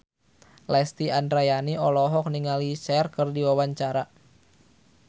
Lesti Andryani olohok ningali Cher keur diwawancara